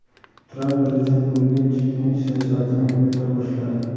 Tramp prezident bo‘lgach, chekinish siyosatini yurita boshladi.